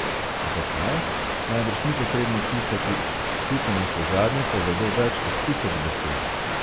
Zakaj, najbrž ni potrebno pisati, slike navsezadnje povedo več kot tisoč besed.